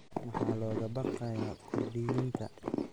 Maxaa looga baqayaa Kurdiyiinta?